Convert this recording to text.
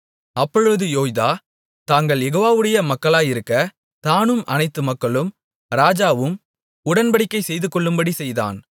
அப்பொழுது யோய்தா தாங்கள் யெகோவாவுடைய மக்களாயிருக்க தானும் அனைத்து மக்களும் ராஜாவும் உடன்படிக்கை செய்துகொள்ளும்படி செய்தான்